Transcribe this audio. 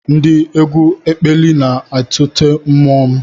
Ndị egwu ekpili na-atụte mmụọ m